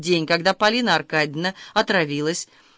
день когда полина аркадьевна отравилась